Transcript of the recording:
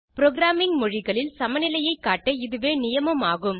programming மொழிகளில் சமநிலையைக் காட்ட இதுவே நியமம் ஆகும்